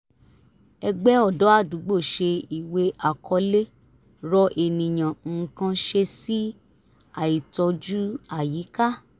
ẹgbẹ́ ọ̀dọ́ ádúgbò ṣe ìwé àkọlé rọ ènìyàn nǹkan ṣe sí àìtọ́jú àyíká